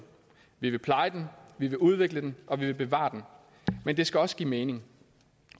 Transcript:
vi vil pleje den vi vil udvikle den og vi vil bevare den men det skal også give mening